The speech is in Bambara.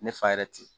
Ne fa yɛrɛ tɛ yen